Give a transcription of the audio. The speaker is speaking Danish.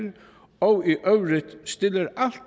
og